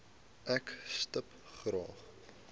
ek stip graag